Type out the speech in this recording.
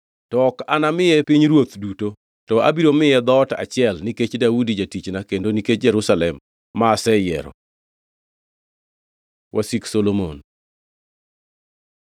To ok anamaye pinyruoth duto, to abiro miye dhoot achiel nikech Daudi jatichna kendo nikech Jerusalem, ma aseyiero.” Wasik Solomon